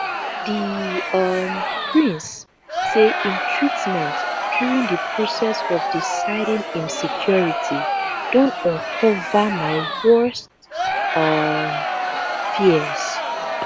di um prince say im treatment during di process of deciding im secuirty don uncover my worst um fears